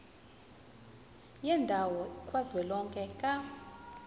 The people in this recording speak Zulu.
yendawo kazwelonke ka